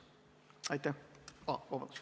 Aitäh!